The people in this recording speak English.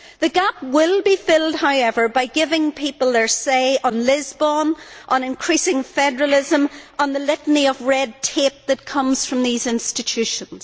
The gap will be filled, however, by giving people their say on Lisbon, on increasing federalism, and on the litany of red tape that comes from these institutions.